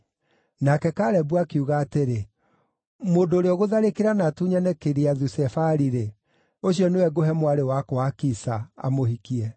Nake Kalebu akiuga atĩrĩ, “Mũndũ ũrĩa ũgũtharĩkĩra na atunyane Kiriathu-Sefari-rĩ, ũcio nĩwe ngũhe mwarĩ wakwa Akisa, amũhikie.”